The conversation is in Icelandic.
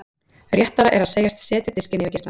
Réttara er að segjast setja diskinn yfir geislann.